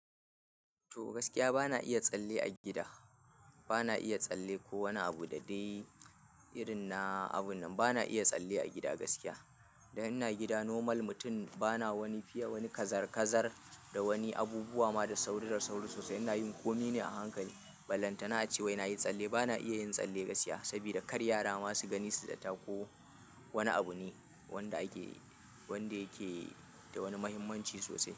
To, gaskiya bana iya tsalle a gida. Bana iya tsalle ko wani abu da dai irin na abun nan bana iya tsalle a gida gaskiya. Da ina gida, normal mutum ba na wani fiye wani, kazar-kazar da wani abubuwa ma da sauri da sauri sosai, ina yin kome ne a hankali. Ballantana ace wai nayi tsalle, bana iya yin tsalle gaskiya sabida kar yara masu gani su zata ko wani abu ne wanda ake wanda yake da wani muhimmanci sosai.